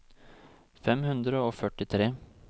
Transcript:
fem hundre og førtitre